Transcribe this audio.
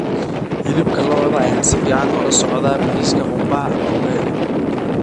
Hilibka lo'da ayaa si fiican ula socda bariiska qumbaha ama ugali.